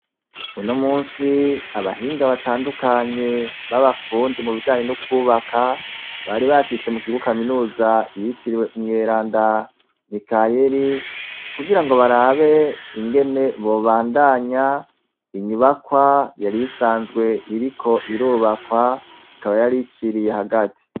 Uno musi abahinga batandukanye babafundi mu bijanye n'ukwubaka bari bashitse mu kibo kaminuza yitiriwe umwera nda mikayeli kugira ngo barabe ingene bobandanya inyubakwa yarisanzwe iriko irubakwa ikaba yarice iriye hagati.